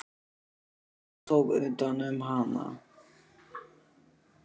Og hann tók utan um hana.